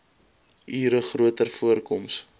ure groter voorkoms